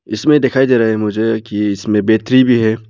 इसमें दिखाई दे रहा है मुझे कि इसमें बैटरी भी है।